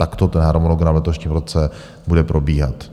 Takto ten harmonogram v letošním roce bude probíhat.